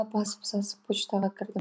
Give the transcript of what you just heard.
асып сасып почтаға кірдім